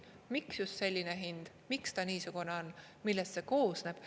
miks just selline hind, miks ta niisugune on, millest see koosneb.